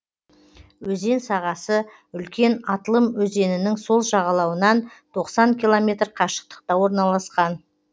өзен сағасы үлкен атлым өзенінің сол жағалауынан тоқсан километр қашықтықта орналасқан